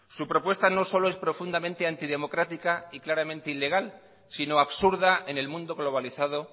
su propuesta no solo es profundamente antidemocrática y claramente ilegal sino absurda en el mundo globalizado